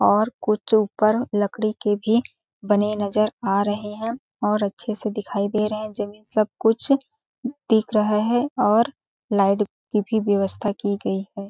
और कुछ ऊपर लकड़ी के भी बने नजर आ रहे हैं और अच्छे से दिखाई दे रहे हैं जमीन सब कुछ दिख रहा है और लाइट की भी व्यवस्था की गई ।